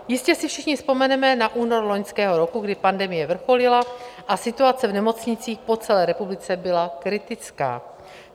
Jistě si všichni vzpomeneme na únor loňského roku, kdy pandemie vrcholila a situace v nemocnicích po celé republice byla kritická.